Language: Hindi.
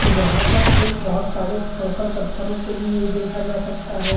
यहाँ पर एक बहौत सारे कंकड़-पथरों को भी ये देखा जा सकता है।